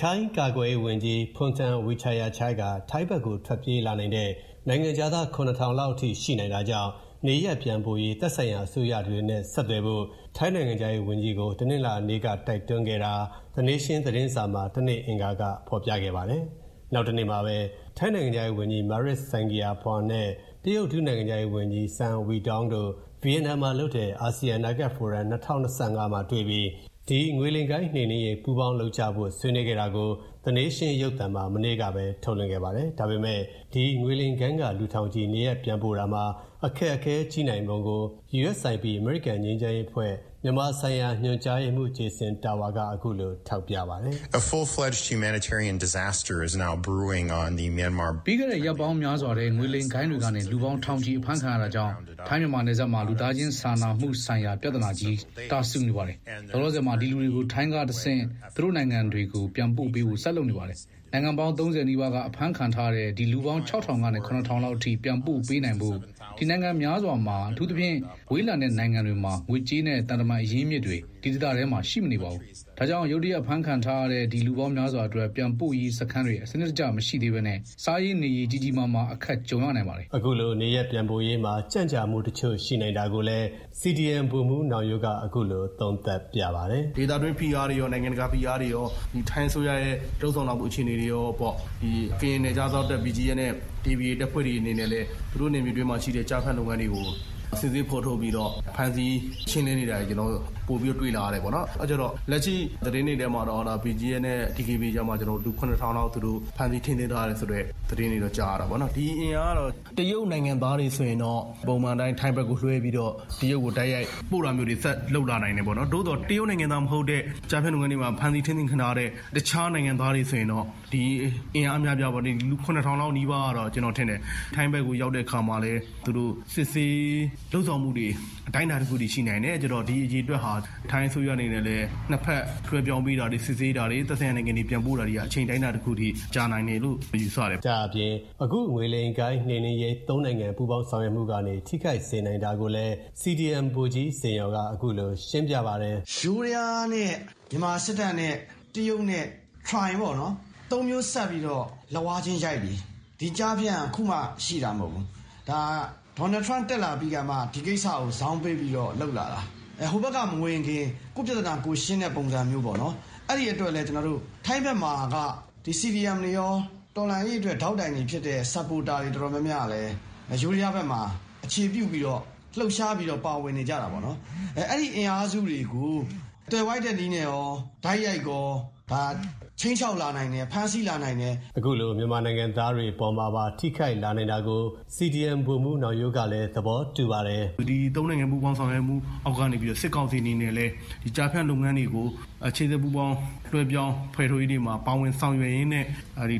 ထိုင်းကာကွယ်ရေးဝန်ကြီး Phumtham Wechayachai က ထိုင်းဖက်ကိုထွက်ပြေးလာနိုင်တဲ့ နိုင်ငံခြားသား ၇၀၀၀ လောက်ထိရှိနိုင်တာကြောင့် နေရပ်ပြန်ပို့ရေး သက်ဆိုင်ရာအစိုးရတွေနဲ့ ဆက်သွယ်ဖို့ ထိုင်းနိုင်ငံခြားရေးဝန်ကြီးကို တနင်္လာနေ့က တိုက်တွန်းခဲ့တာကို The Nation သတင်းစာမှာ အင်္ဂါကဖော်ပြခဲ့ပါတယ်။ နောက်တနေ့မှာပဲ ထိုင်းနိုင်ငံခြားရေးဝန်ကြီး Maris Sangiampongsa နဲ့ တရုတ် ဒုနိုင်ငံခြားရေးဝန်ကြီး Sun Weidong တို့ ဗီယက်နမ်မှာလုပ်တဲ့ အာဆီယံအနာဂတ်ဖိုရမ် ၂၀၂၅ မှာတွေ့ပြီး ဒီငွေလိမ်ဂိုဏ်နှိမ်နင်းရေးပေါင်းလုပ်ကြဖို့ ဆွေးနွေးခဲ့တာကို The Nation ရုပ်သံမှာ မနေ့ကပဲ ထုတ်လွှင့်ခဲ့ပါတယ်။ ဒါပေမဲ့ ဒီငွေလိမ်ဂိုဏ်းကလူထောင်ချီ နေရပ်ပြန်ပို့တာမှာ အခက်အခဲကြီးနိုင်ပုံကို USIP အမေရိကန်ငြိမ်းချမ်းရေးအဖွဲ့ မြန်မာဆိုင်ရာညွှန်ကြားရေးမှုး Jason Tower က အခုလို ထောက်ပြပါတယ်။ "ပြီးခဲ့တဲ့ ရက်ပေါင်းများစွာထဲ ငွေလိမ်ဂိုဏ်းတွေကနေ လူပေါင်း ထောင်ချီအဖမ်းခံရတာကြောင့် ထိုင်းမြန်မာနယ်စပ်မှာ လူသားချင်းစာနာမှုဆိုင်ရာ ပြဿ နာကြီး တာစူနေပါတယ်။ လေလောဆယ်မှာ ဒီလူတွေကို ထိုင်းကတဆင့် သူတို့နိုင်ငံတွေကို ပြန်ပို့ပေးဖို့ ဆက်လုပ်နေပါတယ်။ နိုင်ငံပေါင်း ၃၀ နီးပါးက အဖမ်းခံထားရတဲ့ ဒီလူပေါင်း ၆၀၀၀ ကနေ ၇၀၀၀ လောက်အထိ ပြန်ပို့ပေးနိုင်ဖို့ ဒီနိုင်ငံများစွာမှာ အထူးသဖြင့် ဝေးလံတဲ့နိုင်ငံတွေမှာ ငွေကြေးနဲ့ သံတမန်အရင်းအမြစ်တွေ ဒီဒေသထဲမှာ အသင့်ရှိမနေပါဘူး။ ဒါကြောင့် ရုတ်တရက်ဖမ်းခံထားရတဲ့ ဒီလူပေါင်းများစွာအတွက် ပြန်ပို့ရေးစခန်းတွေ စနစ်တကျမရှိသေးဘဲ စားရေးနေရေး ကြီးကြီးမားမား အခက်ကြုံရနိုင်ပါတယ်။" အခုလိုနေရပ်ပြန်ပို့ရေးမှာ ကြန့်ကြာမှုတချို့ရှိနိုင်တာကိုလည်း CDM ဗိုလ်မှုးနောင်ရိုးက ခုလိုသုံးသပ်ပြပါတယ်။ “ ဒေသတွင်း တွင်းဖိအားတွေရော၊ နိုင်ငံတကာဖိအားတွေရော ထိုင်းအစိုးရရဲ့ လုပ်ဆောင်လာမှု အခြေအနေတွေရောပေါ့၊ ကရင်နယ်ခြားစောင့်တပ် BGF နဲ့ DKBA တပ်ဖွဲ့တွေအနေနဲ့လည်း သူတို့နယ်မြေအတွင်းမှာရှိတဲ့ ကျားဖြန့်လုပ်ငန်းတွေကို စစ်ဆေးဖော်ထုတ်ပြီးတော့ ဖမ်းဆီးရှင်းလင်းနေတာတွေကို ကျနော်တို့ ပိုပြီးတွေ့လာရတယ်။ လက်ရှိသတင်းတွေထဲမှာတော့ BGF နဲ့ DKBA ကြားမှာ လူ ၇ ထောင်လောက် သူတို့ ဖမ်းဆီးထိန်းသိမ်းထား တယ်ဆိုတဲ့သတင်းတွေတော့ ကြားရတယ်ပေါ့နော်၊ ဒီအင်အားကတော့ တရုတ်နိုင်ငံသားတွေဆိုရင်တော့ ပုံမှန်အတိုင်း ထိုင်းဖက်ကိုလွှဲပြီးတော့ တရုတ်ကို တိုက်ရိုက်ပို့တာမျိုးတွေ ဆက်လုပ်လာနိုင်တယ်ပေါ့နော်။ သို့သော် တရုတ်နိုင်ငံသားမဟုတ်တဲ့ ကျားဖြန့်လုပ်ငန်းတွေမှာ ဖမ်းဆီးထိန်းသိမ်းခံထားရတဲ့ တခြားနိုင်ငံသားတွေဆိုရင်တော့ ဒီအင်အားက အများအပြားပေါ့၊ လူ ၇ ထောင်လောက်နီးပါးကတော့.. ကျနော်ထင်တယ်.. ထိုင်းဖက်ကို ရောက်တဲ့အခါမှာလည်း သူတို့ စစ်ဆေးဆောင်ရွက်မှုတွေ အတိုင်းအတာတခုထိရှိနိုင်တယ်။ ပြီးတော့ ဒီအရေအတွက်ဟာ ထိုင်းအစိုးရအနေနဲ့ လည်း နှစ်ဖက်လွှဲပြောင်းပေးတာတွေ၊ စစ်ဆေးတာတွေ၊ သက်ဆိုင်ရာနိုင်ငံကို ပြန်ပို့တာတွေက အချိန်အတိုင်းအတာတခုထိ ကြာနိုင်တယ်လို့ ယူဆတယ်” ဒါ့အပြင် အခုငွေလိမ်ဂိုဏ်းနှိမ်နင်းရေး ၃ နိုင်ငံ ပူးပေါင်းဆောင်ရွက်မှုကနေ ထိခိုက်စေနိုင်တာကိုလည်း CDM ဗိုလ်ကြီး ဇင်ယော်က အခုလိုရှင်းပြပါတယ်။ “ယိုးဒယားနဲ့ မြန်မာစစ်တပ်နဲ့ တရုတ်နဲ့ သုံးမျိုးစပ်ပြီးတော့ လက်ဝါးချင်းရိုက်ပြီ။ ဒီကျားဖြန့်က အခုမှ ရှိတာမဟုတ်ဘူး၊ ဒေါ်နယ်ထရမ့်တက်လာပြီးမှ ဒီကိစ္စကို ဇောင်းပေးပြီးတော့လုပ်လာတာ၊ ဟိုဖက်က မဝင်ခင် ကိုယ့်ပြဿနာကိုယ်ရှင်းတဲ့ ပုံစံမျိုးပေါ့နော်၊အဲဒီအတွက်လည်း ထိုင်းဖက်မှာက CDM တွေရော၊ တော်လှန်ရေးအတွက် ဒေါက်တိုင်တွေဖြစ်တဲ့ Supporter တွေအတော်များများကလည်း ယိုးဒယားဖက်မှာ အခြေပြုပြီးတော့ လှုပ်ရှားပြီးတော့ ပါဝင်နေကြတာပေါ့။ အဲဒီအင်အားစုတွေကို သွယ်ဝိုက်တဲ့နည်းနဲ့ရော၊ တိုက်ရိုက်ရော ခြိမ်းချောက်လာနိုင်တယ်၊ ဖမ်းဆီးလာနိုင်တယ်။ ” အခုလို မြန်မာနိုင်ငံသားတွေအပေါ်မှာပါ ထိခိုက်လာနိုင်တာကို CDM ဗိုလ်မှုးနောင်ရိုးကလည်း သဘောတူပါတယ်။ “ဒီ ၃ နိုင်ငံ ပူးပေါင်းဆောင်ရွက်မှု အောက်ကနေပြီးတော့ စစ်ကောင်စီအနနဲ့လည်း ကျားဖြန့်လုပ်ငန်းတွေကို ရှေ့ဆက်ပူးပေါင်းလွှဲပြောင်း ဖယ်ထုတ်ရေးတွေမှာ ပူးပေါင်းပါဝင်ဆောင်ရွက်ရင်းနဲ့